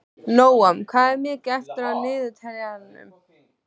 Nóam, hvað er mikið eftir af niðurteljaranum?